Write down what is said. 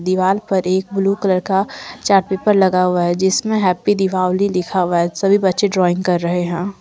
दीवाल पर एक ब्ल्यू कलर का चार्ट पेपर लगा हुआ है जिसमे हैप्पी दीपावली लिखा हुआ है सभी बच्चे ड्राइंग कर रहे हैं।